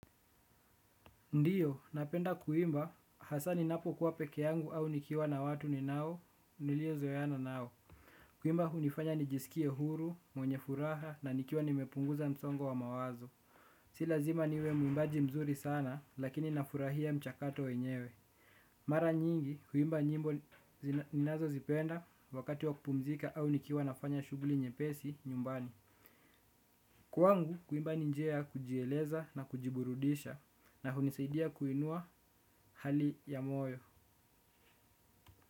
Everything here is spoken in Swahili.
Ndiyo, napenda kuimba, hasaa ninapo kuwa peke yangu au nikiwa na watu ninao, nilio zoeana nao. Kuimba hunifanya nijisikie huru, mwenye furaha na nikiwa nimepunguza msongo wa mawazo. Silazima niwe muimbaji mzuri sana, lakini nafurahia mchakato wenyewe. Mara nyingi, kuimba nyimbo ninazo zipenda wakati wa kupumzika au nikiwa nafanya shughuli nyepesi nyumbani. Kwangu, kuimba ninjia ya kujieleza na kujiburudisha na hunisaidia kuinua hali ya moyo.